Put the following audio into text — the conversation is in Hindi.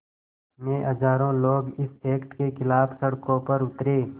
में हज़ारों लोग इस एक्ट के ख़िलाफ़ सड़कों पर उतरे